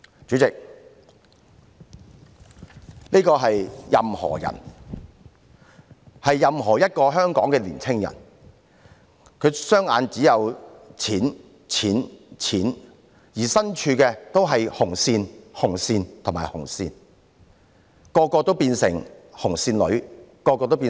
主席，這是"任何人"——任何一個香港的年青人——他的雙眼只有錢、錢、錢，而身處的地方周圍也是"紅線"、"紅線"、"紅線"，每位都變成"紅線女"、"紅線仔"。